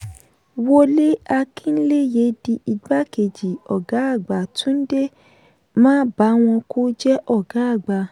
wole akinleye di igbá kejì ọgá àgbà; tunde mabawonku jẹ́ ọgá àgbà.